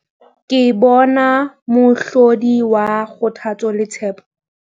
Ke bona mohlodi wa kgothatso le tshepo.